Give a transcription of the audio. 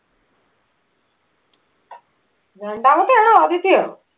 രണ്ടാമത്തെ ആണോ ആദ്യത്തെ ആണോ